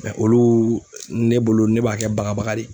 olu ne bolo ne b'a kɛ bagabaga de ye.